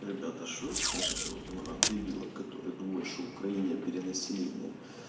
ребята что скажите вот на дебила которые думают что в украине перенаселение